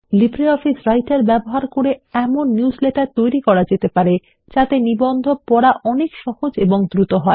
LibreOffice Writer ব্যবহার করে এমন নিউজলেটার তৈরি করা যেতে পারে যাতে নিবন্ধ পড়া অনেক সহজ ও দ্রুত হবে